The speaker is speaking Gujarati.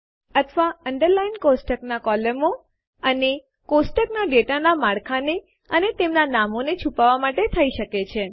અથવા અન્ડરલાઇંગ ટેબલની કોલમો અને ટેબલના ડેટાનાં માળખાંને અને તેમનાં નામોને છુપાવવાં માટે થઇ શકે છે